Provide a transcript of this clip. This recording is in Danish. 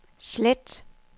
slet